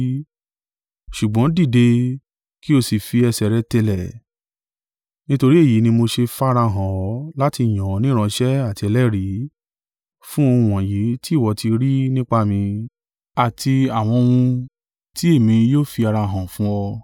Ṣùgbọ́n dìde, kí o sí fi ẹsẹ̀ rẹ tẹlẹ̀: nítorí èyí ni mo ṣe farahàn ọ́ láti yàn ọ́ ní ìránṣẹ́ àti ẹlẹ́rìí, fún ohun wọ̀nyí tí ìwọ tí rí nípa mi, àti àwọn ohun tí èmi yóò fi ara hàn fún ọ.